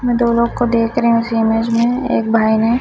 मैं दोनों को देख रही हूं। इस इमेज में एक भाई ने--